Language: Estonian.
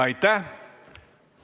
Aitäh!